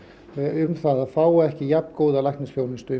um að fá ekki jafn góða læknisþjónustu